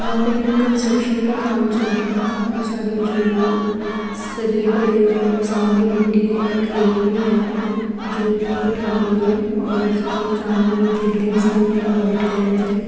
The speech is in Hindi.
यहां पे कंस्ट्रक्शन का काम चल रहा है काफी सारे जो शरीये पड़े हुए हैं सामने मिट्टी है क्रेन भी है जो मिट्टी उठा रही है और उसके सामने बिल्डिंग्स बनी है वाइट कलर की--